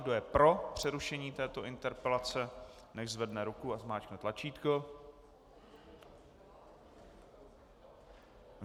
Kdo je pro přerušení této interpelace, nechť zvedne ruku a zmáčkne tlačítko.